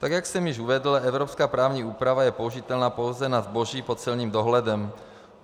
Tak jak jsem již uvedl, evropská právní úprava je použitelná pouze na zboží pod celním dohledem.